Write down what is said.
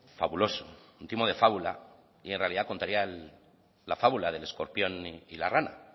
fabuloso un timo de fábula y en realidad contaría la fábula del escorpión y la rana